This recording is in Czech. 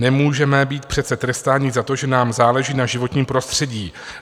Nemůžeme být přece trestáni za to, že nám záleží na životním prostředí.